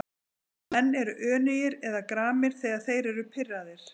Menn eru önugir eða gramir þegar þeir eru pirraðir.